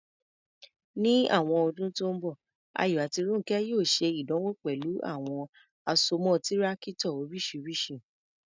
Ní àwọn ọdún tó ń bọ̀, Ayọ̀ àti Rónkẹ́ yóò ṣe ìdánwò pẹ̀lú àwọn àsomọ́ Tírákítọ̀ oríṣiríṣi.